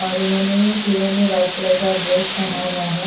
और इन्होंने तीनों ने व्हाइट कलर का ड्रेस पेहना हुआ है।